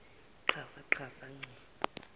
qhafa qhafa ngci